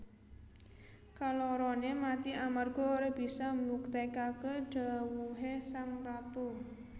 Kaloroné mati amarga ora bisa mbuktèkaké dhawuhé sang ratu